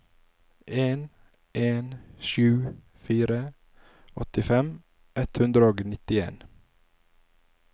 en en sju fire åttifem ett hundre og nittien